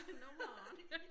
Nummeret